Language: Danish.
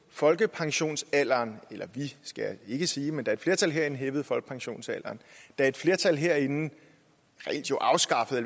folkepensionsalderen eller vi skal jeg ikke sige men da et flertal herinde hævede folkepensionsalderen da et flertal herinde afskaffede